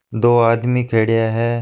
दो आदमी खड्या है।